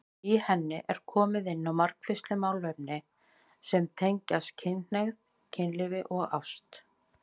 Í henni er komið inn á margvísleg málefni sem tengjast kynhneigð, kynlífi og ást.